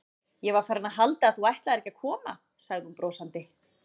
Ég var farin að halda að þú ætlaðir ekki að koma sagði hún brosandi.